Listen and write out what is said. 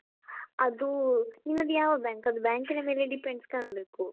ಅದು ನಿನ್ನದು ಯಾವ bank ಅದು bank ನ ಮೇಲೆ depends ಕಾಣಬೇಕು.